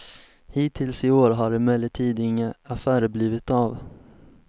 Hittills i år har emellertid inga affärer blivit av.